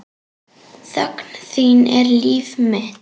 Þögn þín er líf mitt.